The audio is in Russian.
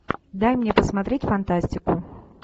дай мне посмотреть фантастику